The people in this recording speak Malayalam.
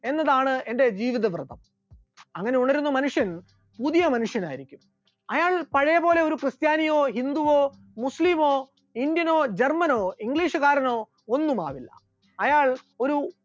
എന്നതാണ് എന്റെ ജീവിത വൃത്തം, അങ്ങനെ ഉണരുന്ന മനുഷ്യൻ പുതിയ മനുഷ്യനായിരിക്കും, അയാൾ പഴയ പോലെ ഒരു ക്രിസ്ത്യാനിയോ ഹിന്ദുവോ മുസ്ലിമോ ഇന്ത്യനോ ജർമ്മനോ ഇംഗ്ലീഷുകാരനോ ഒന്നുമാകില്ല, അയാൾ ഒരു